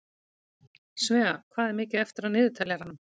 Svea, hvað er mikið eftir af niðurteljaranum?